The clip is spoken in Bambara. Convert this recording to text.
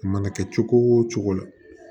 A mana kɛ cogo o cogo